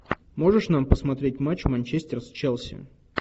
можешь нам посмотреть матч манчестер с челси